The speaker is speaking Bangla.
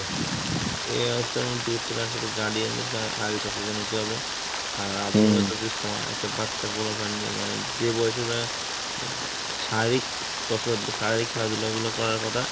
এ অবস্থার মুতে করতে গেলে আসলে guardian কে আ~ আগে সচেতন হতে হবে, আর সময় একটা বাচ্চা বড় মানে যেই বয়সে ওরা শারীরিক কসরত বা শারীরিক খেলাধুলা গুলা করার কথা